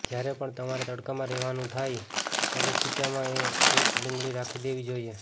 જ્યારે પણ તમારે તડકામાં રહેવાનું થાય ત્યારે ખીચ્ચામાં એક ડુંગળી રાખી દેવી જોઈએ